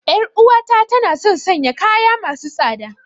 Yar uwata tana son sanya kaya masu tsada.